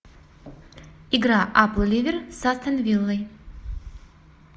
игра апл ливер с астон виллой